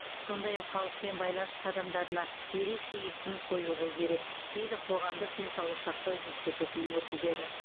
сондай ақ халықпен байланыс қадамдарына ерекше екпін қойылу керек дейді қоғамдық денсаулық сақтау институтының өкілдері